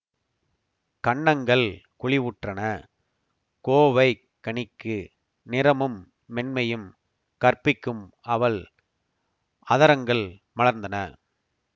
கன்னங்கள் குழிவுற்றன கோவைக் கனிக்கு நிறமும் மென்மையும் கற்பிக்கும் அவள் அதரங்கள் மலர்ந்தன